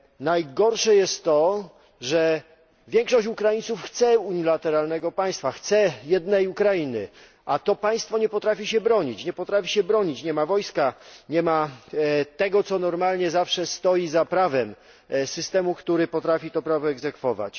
Najgorsze jest to, że większość Ukraińców chce unilateralnego państwa, chce jednej Ukrainy, a to państwo nie potrafi się bronić, nie ma wojska, nie ma tego, co normalnie zawsze stoi za prawem systemu, który potrafi to prawo egzekwować.